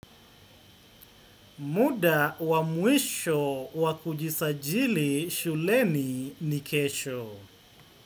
Muda wa mwisho wa kujisajili shuleni nikesho.